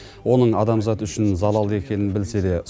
оның адамзат үшін залал екенін білсе де